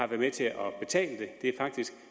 med til at betale det er faktisk